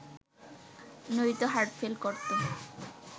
নয়তো হার্টফেল করত